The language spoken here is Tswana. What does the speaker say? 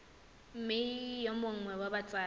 mme yo mongwe wa batsadi